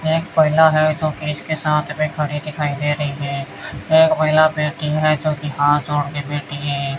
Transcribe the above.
एक है जो पुलिस के साथ मे खड़ी दिखाई दे रही है एक महिला बैठी है जोकि हाथ जोड़ के बैठी है।